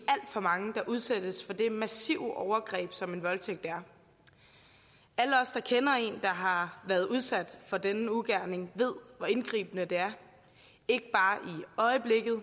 for mange udsættes for det massive overgreb som en voldtægt er alle der kender en der har været udsat for denne ugerning ved hvor indgribende det er ikke bare